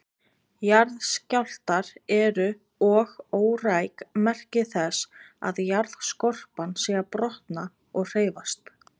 Jarðskjálftar eru og óræk merki þess að jarðskorpan sé að brotna og hreyfast.